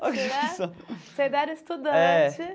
Você ainda era estudante.